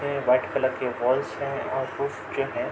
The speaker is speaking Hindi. में व्हाइट कलर की वॉल्स हैं और कुछ जो हैं --